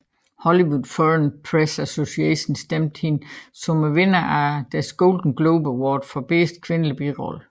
Hollywood Foreign Press Association stemte hende som vinderen af deres Golden Globe Award for bedste kvindelige birolle